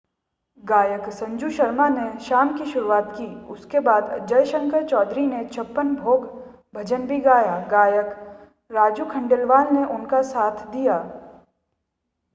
गायक संजू शर्मा ने शाम की शुरुआत की उसके बाद जय शंकर चौधरी ने छप्पन भोग भजन भी गाया गायक राजू खंडेलवाल ने उनका साथ दिया